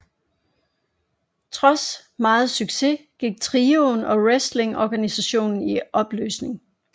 Trods meget succes gik trioen og wrestlingorganisationen i opløsning